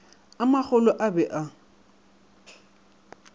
a magolo a be a